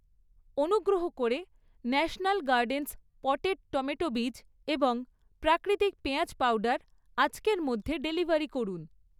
অনুগ্রহ করে National Gardens potted tomato বীজ এবং প্রাকৃতিক পেঁয়াজ পাউডার আজকের মধ্যে ডেলিভারি করুন।